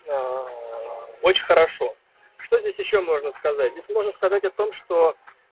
очень хорошо что здесь ещё можно сказать здесь можно сказать о том что